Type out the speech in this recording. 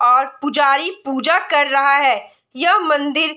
और पुजारी पूजा कर रहा है यह मंदिर --